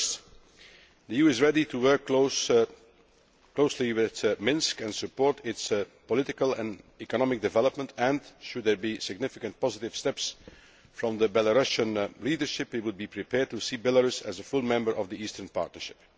First, the EU is ready to work closely with Minsk and support its political and economic development and, should there be significant positive steps from the Belarusian leadership, we would be prepared to see Belarus as a full member of the Eastern Partnership.